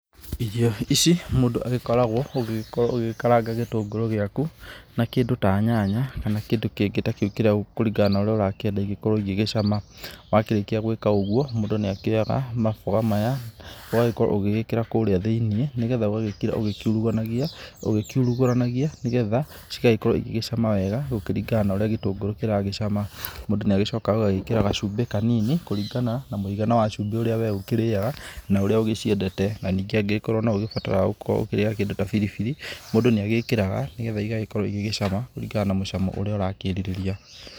Irio ici mũndũ agĩkoragwo ũgĩgĩkorwo ũgĩgĩkaranga gĩtũngũrũ gĩaku na kĩndũ ta nyanya, kana kĩndũ kĩngĩ ta kĩu kĩrĩa kũringana na ũrĩa ũrakĩenda igĩkorwo igĩgĩcama. Wakĩrĩkia gwĩka ũguo, mũndũ nĩakĩyoga maboga maya ũgagĩkorwo ũgĩgĩkĩra kũrĩa thĩ-inĩ, ni getha ũgagĩkĩra ũgĩkiuruganagia, ũgĩkiurugũranagia, nĩ getha cigagĩkorwo igĩgĩcama wega, gũkĩringana na ũrĩa gĩtũngũrũ kĩragĩcama. Mũndũ nĩagĩcokaga ũgagĩkĩra gacumbĩ kanini, kũringana na mũigana wa cumbĩ ũrĩa we ũkĩrĩyaga, na ũrĩa ũgĩciendete, na ningĩ angĩgĩkorwo no ũgĩbataraga gũkorwo ũkĩrĩa na kĩndũ ta biribiri, mũndũ nĩagĩkĩraga, nĩ getha ĩgagĩkorwo igĩgĩcama, kũringana na mucamo ũrĩa ũrakĩrirĩria.